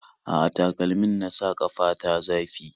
A'a, takalmin na sa ƙafa ta zafi